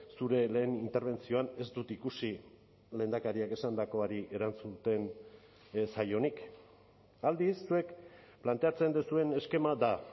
zure lehen interbentzioan ez dut ikusi lehendakariak esandakoari erantzuten ez zaionik aldiz zuek planteatzen duzuen eskema da